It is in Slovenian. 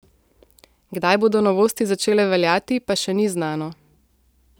Kdaj bodo novosti začele veljati, pa še ni znano.